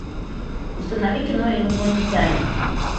установи кино инопланетянин